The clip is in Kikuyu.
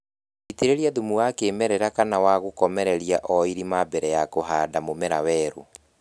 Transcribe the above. Itĩrĩria thumu wa kĩmerera kana wa gũkomereria o irimainĩ mbere ya kũhanda mũmera werũ